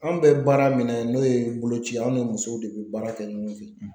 An bɛ baara min na n'o ye boloci ye an ni musow de bɛ baara kɛ ɲɔgɔn fɛ